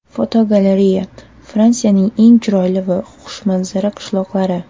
Fotogalereya: Fransiyaning eng chiroyli va xushmanzara qishloqlari.